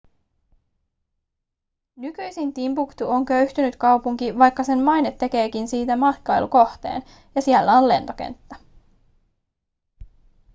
nykyisin timbuktu on köyhtynyt kaupunki vaikka sen maine tekeekin siitä matkailukohteen ja siellä on lentokenttä